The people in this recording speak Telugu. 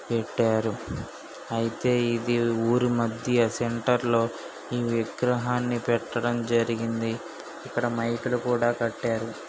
పెట్టారు. అయితే ఇది ఊరి మధ్య సెంటర్ లో ఈ విగ్రహాన్ని పెట్టడం జరిగింది. ఇక్కడ మైక్ లు కూడా కట్టారు.